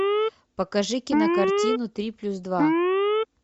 покажи кинокартину три плюс два